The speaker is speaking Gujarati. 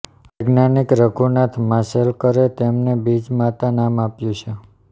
વૈજ્ઞાનિક રઘુનાથ માશેલકરે તેમને બીજ માતા નામ આપ્યું છે